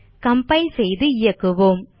compile செய்து இயக்குவோம்